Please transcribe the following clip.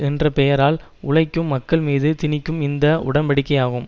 என்ற பெயரால் உழைக்கும் மக்கள் மீது திணிக்கும் இந்த உடன்படிக்கையாகும்